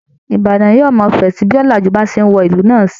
Ìbàdàn yóò máa fẹ̀ sí i bí ọ̀làjú bá ṣe ń wọ ìlú náà sí i